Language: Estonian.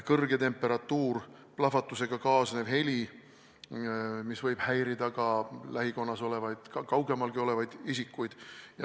Kõrge temperatuur ja plahvatusega kaasnev heli võib häirida lähikonnas ja kaugemalgi olevaid isikuid.